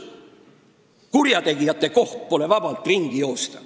Kurjategijate asi pole vabalt ringi joosta.